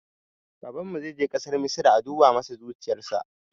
Babana zai je ƙasar misra a duba masa zuciyarsa